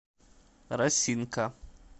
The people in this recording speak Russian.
росинка